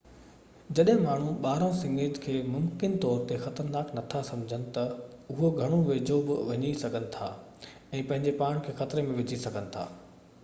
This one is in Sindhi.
جڏهن ماڻهو ٻارانهن سڱي کي ممڪن طور تي خطرناڪ نٿا سمجهن تہ اهي گهڻو ويجهو بہ وڃي سگهن ٿا ۽ پنهنجي پاڻ کي خطري ۾ وجهي سگهن ٿا